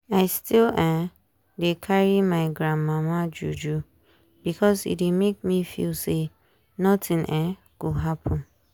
i still um dey carry my gran mama juju because e dey make me feel say nothing um go happen.